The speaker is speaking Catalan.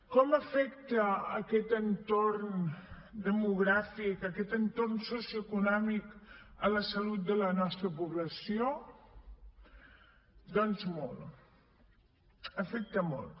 com afecta aquest entorn demogràfic aquest entorn socioeconòmic la salut de la nostra població doncs molt l’afecta molt